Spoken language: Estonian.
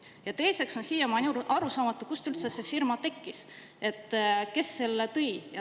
Ja teiseks on siiamaani arusaamatu, kust üldse see firma tekkis, kes selle lõi.